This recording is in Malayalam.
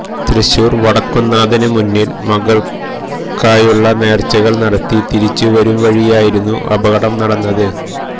തൃശൂര് വടക്കുംനാഥനു മുന്നില് മകള്ക്കായുള്ള നേര്ച്ചകള് നടത്തി തിരിച്ച് വരും വഴിയായിരുന്നു അപകടം നടന്നത്